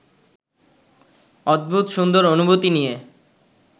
অদ্ভুত সুন্দর অনুভূতি নিয়ে